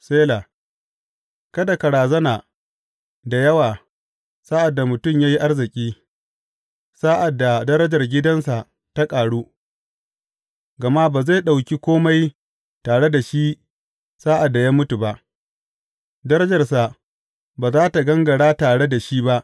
Sela Kada ka razana da yawa sa’ad da mutum ya yi arziki sa’ad da darajar gidansa ta ƙaru; gama ba zai ɗauki kome tare da shi sa’ad da ya mutu ba, darajarsa ba za tă gangara tare da shi ba.